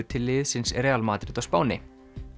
til liðsins Real Madrid á Spáni